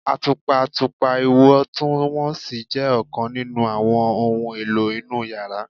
Atupa atupa iwọntunwọnsi jẹ ọkan ninu awọn ohun elo inu yara